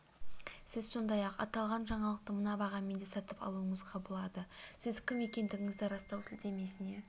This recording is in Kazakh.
сіз сондай-ақ аталған жаңалықты мына бағамен де сатып алуыңызға болады сіз кім екендігіңізді растау сілтемесіне